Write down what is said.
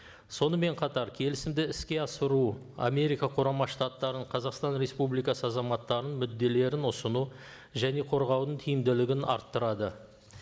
сонымен қатар келісімді іске асыру америка құрама штаттарының қазақстан республикасы азаматтарының мүдделерін ұсыну және қорғаудың тиімділігін арттырады